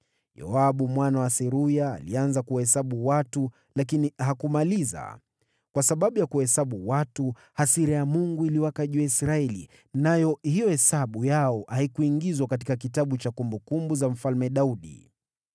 Yoabu mwana wa Seruya alianza kuwahesabu watu lakini hakumaliza. Kwa sababu ya kuwahesabu watu, hasira ya Mungu iliwaka juu ya Israeli, nayo hiyo hesabu yao haikuingizwa katika kitabu cha kumbukumbu za Mfalme Daudi.